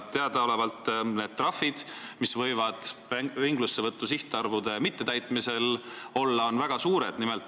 Teadaolevalt on need trahvid, mida võib ringlusesse võtu sihtarvude mittetäitmise korral määrata, väga suured.